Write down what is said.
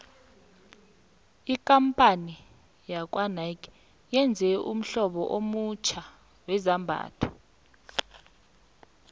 ikampani yakwanike yenze ummhlobo omutjha wezambhatho